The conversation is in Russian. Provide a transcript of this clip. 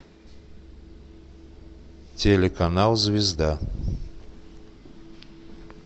телеканал звезда